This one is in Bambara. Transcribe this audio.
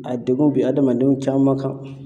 A degun bi hadamadenw caman kan.